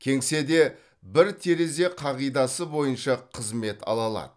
кеңседе бір терезе қағидасы бойынша қызмет ала алады